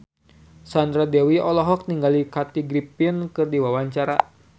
Sandra Dewi olohok ningali Kathy Griffin keur diwawancara